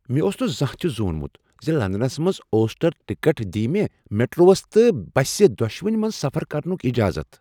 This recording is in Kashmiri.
مےٚ اوس نہٕ زانٛہہ تہ زونمٗت ز لندنس منٛز اوسٹر ٹکٹ دیہ مےٚ میٹروہس تہٕ بسہِ دۄشوٕنۍ منٛز سفر کرنٗک اجازت۔